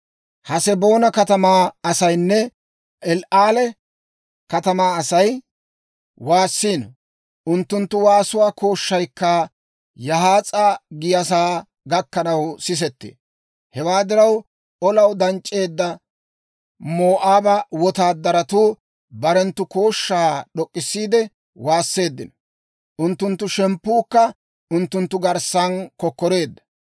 Haseboona katamaa asaynne El"aale katamaa Asay waassiino; unttunttu waasuwaa kooshshaykka Yahaas'a giyaasaa gakkanaw sisettee. Hewaa diraw, olaw danc'c'eedda Moo'aaba wotaadaratuu barenttu kooshshaa d'ok'k'issiide waasseeddino; unttunttu shemppuukka unttunttu garssan kokkoreedda.